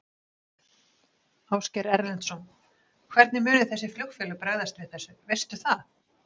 Ásgeir Erlendsson: Hvernig munu þessi flugfélög bregðast við þessu, veistu það?